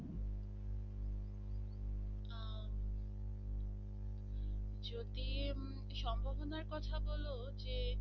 যদি সম্ভবনার কথা বল যে